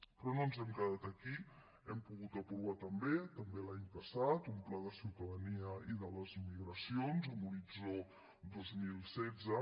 però no ens hem quedat aquí hem pogut aprovar també també l’any passat un pla de ciutadania i de les migracions amb horitzó dos mil setze